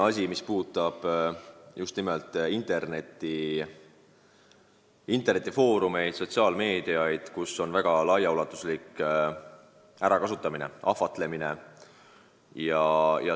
Üks puudutab just nimelt internetifoorumeid, sotsiaalmeediat, kus on võimalik väga ulatuslik ärakasutamine ja ahvatlemine.